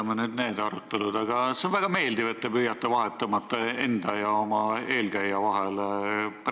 Jätame nüüd need arutelud, aga üldiselt on väga meeldiv, et te püüate vahet tõmmata enda ja oma eelkäija vahel.